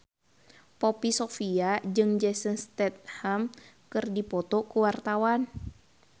Poppy Sovia jeung Jason Statham keur dipoto ku wartawan